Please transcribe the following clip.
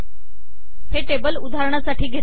हे टेबल उदाहरणासाठी घेतले आहे